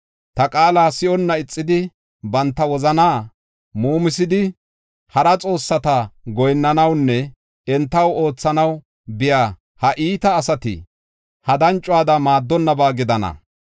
Ta qaala si7onna ixidi, banta wozanaa muumisidi, hara xoossata goyinnanawunne entaw oothanaw biya ha iita asati, ha dancuwada maaddonnaba gidana.